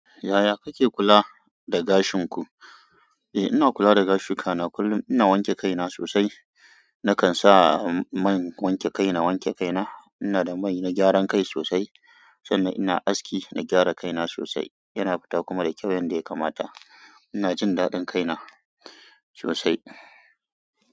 Yaya kake kula da gashin ku? Eh ina kula da gashiku ka na kullum. Ina wanke kai na sosai. Nakan sa man wanke kai na. Wanke kai na. Ina da mai na gyaran kai sosai. Sannan ina aski na gyara kai na sosai. Yana fita kuma da kyau yanda ya kamata. Ina jin daɗin kai na sosai.